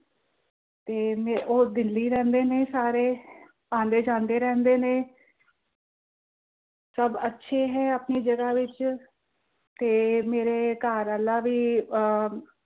ਤੇ ਮੇ ਅਹ ਉਹ ਦਿੱਲੀ ਰਹਿੰਦੇ ਨੇ ਸਾਰੇ, ਆਂਦੇ ਜਾਂਦੇ ਰਹਿੰਦੇ ਨੇ ਸਭ ਅੱਛੇ ਨੇ ਆਪਣੀ ਜਗ੍ਹਾ ਵਿੱਚ, ਤੇ ਮੇਰੇ ਘਰਵਾਲਾ ਵੀ ਅਹ